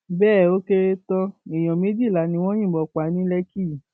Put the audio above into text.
bẹẹ ó kéré tán èèyàn méjìlá ni wọn yìnbọn pa ní lékì yìí